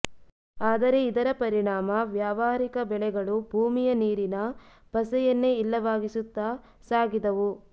ಆದರೆ ಇದರ ಪರಿಣಾಮ ವ್ಯಾವಹಾರಿಕ ಬೆಳೆಗಳು ಭೂಮಿಯ ನೀರಿನ ಪಸೆಯನ್ನೇ ಇಲ್ಲವಾಗಿಸುತ್ತ ಸಾಗಿದವು